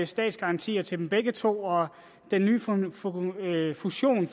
statsgarantier til dem begge to og den nye fusion